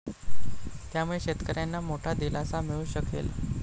त्यामुळे शेतकऱ्यांना मोठा दिलासा मिळू शकेल.